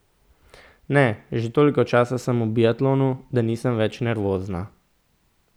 Ne, že toliko časa sem v biatlonu, da nisem več nervozna.